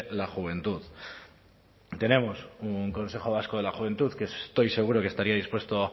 la juventud tenemos un consejo vasco de la juventud que estoy seguro que estaría dispuesto